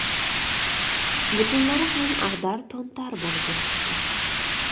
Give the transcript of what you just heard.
Butunlari ham ag‘dar-to‘ntar bo‘lib yotibdi.